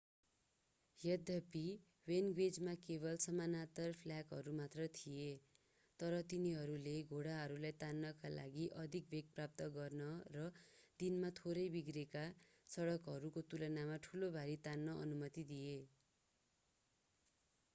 यद्यपि वेगनवेजमा केवल समानान्तर फ्ल्याकहरू मात्र थिए तर तिनीहरूले घोडाहरूलाई तान्नका लागि अधिक वेग प्राप्त गर्न र दिनमा थोरै बिग्रेका सडकहरूको तुलनामा ठूलो भारी तान्न अनुमति दिए